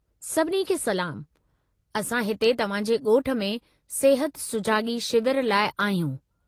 सभिनी खे सलामु, असां हिते तव्हां जे ॻोठ में सिहत सुजाॻी शिविर लाइ आहियूं।